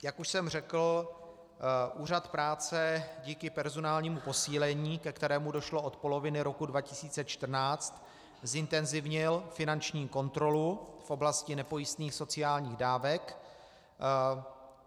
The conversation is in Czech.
Jak už jsem řekl, Úřad práce díky personálnímu posílení, ke kterému došlo od poloviny roku 2014, zintenzivnil finanční kontrolu v oblasti nepojistných sociálních dávek.